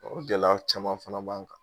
O gɛlɛya caman fana b'an kan.